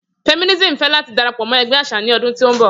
Feminism fẹ lati darapọ mọ ẹgbẹ aṣa ni ọdun to nbọ.